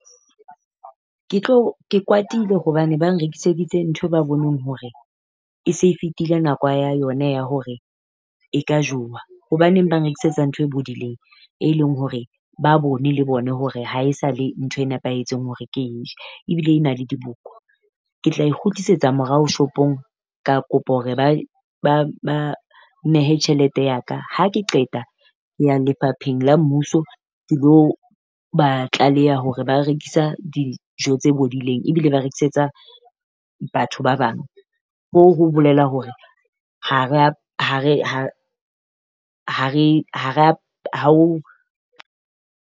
Ke tlo ke kwatile hobane ba nrekiseditse ntho ba boneng hore e se e fetile nako ya yona ya hore e ka jowa. Hobaneng ba nrekisetsa ntho e bodileng e leng hore ba bone le bone hore ha e sa le ntho e nepahetseng hore ke e je? Ebile e na le diboko, ke tla e kgutlisetsa morao shopong. Ka kopa hore ba nnehe tjhelete ya ka. Ha ke qeta ke ya lefapheng la mmuso, ke lo ba tlaleha hore ba rekisa dijo tse bodileng ebile ba rekisetsa batho ba bang. Hoo ho bolela hore ha rea ha re ha ha re ha rea ha o.